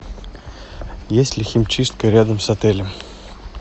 есть ли химчистка рядом с отелем